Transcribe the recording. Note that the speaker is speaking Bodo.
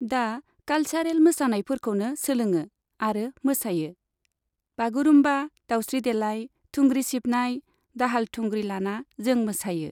दा कालचारेल मोसानायफोरखौनो सोलोङाे आरो माेसायाे। बागुरुमबा, दावस्रि देलाय, थुंग्रि सिबनाय, दाहाल थुंग्रि लाना जों मोसायो।